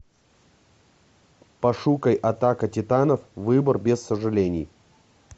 пошукай атака титанов выбор без сожалений